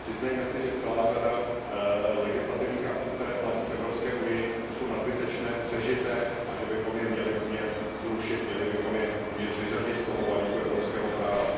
Přiznejme si, že celá řada legislativních aktů, které platí v Evropské unii, jsou nadbytečné, přežité a že bychom je měli umět zrušit, měli bychom je umět vyřadit z toho balíku evropského práva.